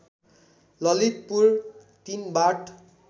ललितपुर ३ बाट